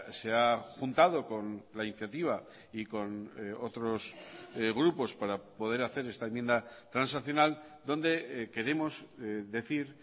se ha juntado con la iniciativa y con otros grupos para poder hacer esta enmienda transaccional donde queremos decir